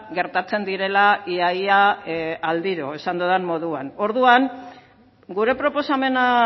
gertatzen direla ia ia aldiro esan dudan moduan orduan gure proposamena